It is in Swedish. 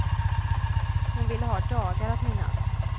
Hon ville ha dagar att minnas.